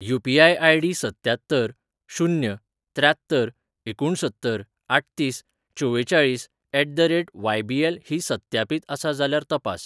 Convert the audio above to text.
UPI. ID. सत्त्यात्तर शून्य त्र्यात्तर एकुसत्तर आठतीस चवेचाळीस ऍट द रेट वायबीएल ही सत्यापीत आसा जाल्यार तपास.